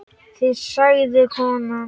Þig sagði konan.